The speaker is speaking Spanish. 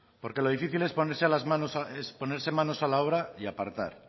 porque lo difícil es ponerse a las manos es ponerse manos a la obra y aportar